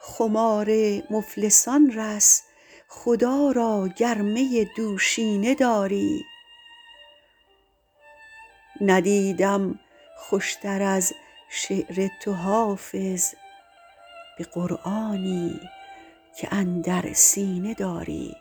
خمار مفلسان رس خدا را گر می دوشینه داری ندیدم خوش تر از شعر تو حافظ به قرآنی که اندر سینه داری